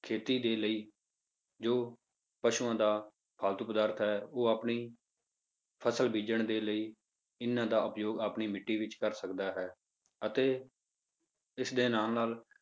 ਖੇਤੀ ਦੇ ਲਈ ਜੋ ਪਸੂਆਂ ਦਾ ਫਾਲਤੂ ਪਦਾਰਥ ਹੈ ਉਹ ਆਪਣੀ ਫਸਲ ਬੀਜਣ ਦੇ ਲਈ ਇਹਨਾਂ ਦਾ ਉਪਯੋਗ ਆਪਣੀ ਮਿੱਟੀ ਵਿੱਚ ਕਰ ਸਕਦਾ ਹੈ, ਅਤੇ ਇਸਦੇ ਨਾਲ ਨਾਲ